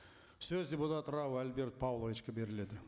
сөз депутат рау альберт павловичке беріледі